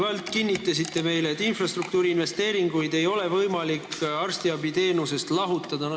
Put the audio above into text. Te kinnitasite meile mitu korda, et infrastruktuuri investeeringuid ei ole võimalik arstiabiteenusest lahutada.